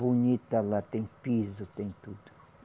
Bonita lá, tem piso, tem tudo.